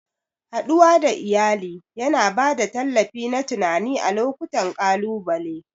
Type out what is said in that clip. Haɗuwa da iyali yana ba da tallafi na tunani a lokutan ƙalubale.